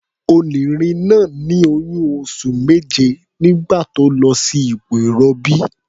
Onìnrin náà ní oyún oṣù méje nígbà tó lọ sí ipò ìrọbí.